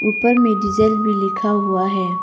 ऊपर में डीजल भी लिखा हुआ है।